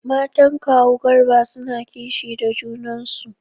Matan kawu Garba suna kishi da junan su.